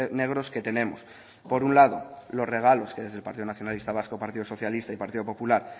negros que tenemos por un lado los regalos que desde el partido nacionalista vasco partido socialista y partido popular